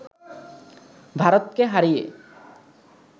ভারতকে হারিয়ে